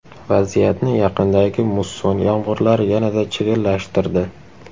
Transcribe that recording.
Vaziyatni yaqindagi musson yomg‘irlari yanada chigallashtirdi.